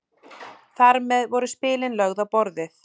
Þar með voru spilin lögð á borðið.